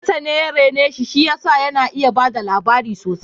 Kakansa ne ya rene shi, shi ya sa yana iya bada labari sosai